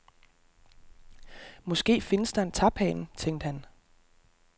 Måske findes der en taphane, tænkte han.